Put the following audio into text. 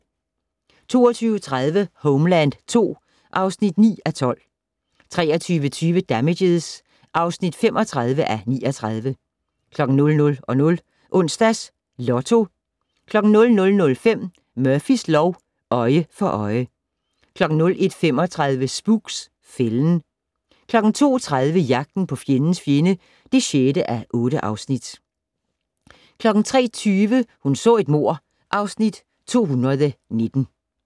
22:30: Homeland II (9:12) 23:20: Damages (35:39) 00:00: Onsdags Lotto 00:05: Murphys lov: Øje for øje 01:35: Spooks: Fælden 02:30: Jagten på fjendens fjende (6:8) 03:20: Hun så et mord (Afs. 219)